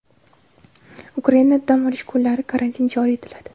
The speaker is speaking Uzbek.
Ukrainada dam olish kunlari karantin joriy etiladi.